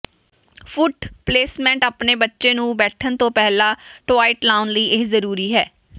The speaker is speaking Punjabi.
ਫੁੱਟ ਪਲੇਸਮੈਂਟ ਆਪਣੇ ਬੱਚੇ ਨੂੰ ਬੈਠਣ ਤੋਂ ਪਹਿਲਾਂ ਟੋਆਇਟ ਲਾਉਣ ਲਈ ਇਹ ਜ਼ਰੂਰੀ ਹੈ